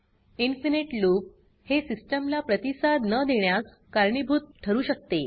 infinite loop हे system ला प्रतिसाद न देण्यास कारणीभूत ठरू शकते